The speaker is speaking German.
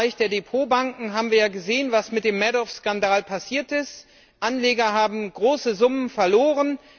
Gerade im Bereich der Depotbanken haben wir ja gesehen, was mit dem Madoff Skandal passiert ist Anleger haben große Summen verloren.